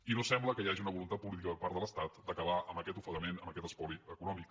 i no sembla que hi hagi una voluntat política per part de l’estat d’acabar amb aquest ofega·ment amb aquest espoli econòmic